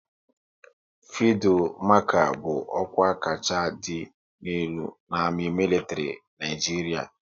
Fildu Marchal bụ ọkwa kacha dị elu n' amị militri Naijiria